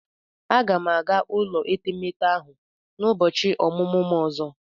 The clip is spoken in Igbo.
M ga-aga ụlọ etemeete ahụ n'ụbọchị ọmụmụ m ọzọ.